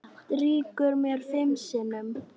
Strýkur mér fimm sinnum.